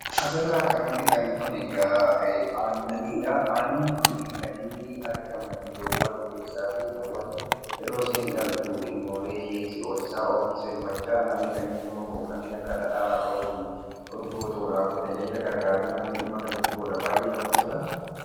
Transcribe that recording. Asirraa kan argitan kun egaa aannanidha. Aannan kun kan inni argamu loowwan keessaati. Yeroo loowwan dhaltu ilmoolee ishee hoosisaa ofiis kan namni dhimma itti bahu kanneen akka dhadhaa, fi urgoo kan namni dhimma itti bahidha. Baay'ee namatti tola.